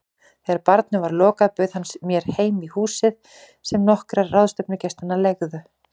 Þegar barnum var lokað bauð hann mér heim í húsið sem nokkrir ráðstefnugestanna leigðu.